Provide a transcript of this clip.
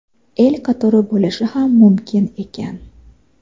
El qatori bo‘lishi ham mumkin ekan.